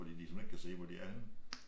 Fordi de simpelthen ikke kan se hvor de er henne